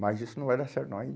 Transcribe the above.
Mas isso não vai dar certo não. Aí